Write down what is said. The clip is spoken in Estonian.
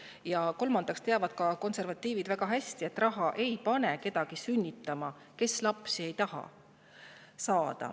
Ja kolmandaks, konservatiivid teavad väga hästi, et raha ei pane kedagi sünnitama, kui ta lapsi ei taha.